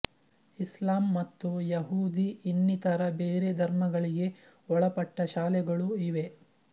ಇಸ್ಲಾಂ ಮತ್ತು ಯಹೂದಿ ಇನ್ನಿತರ ಬೇರೆ ಧರ್ಮಗಳಿಗೆ ಒಳಪಟ್ಟ ಶಾಲೆಗಳೂ ಇವೆ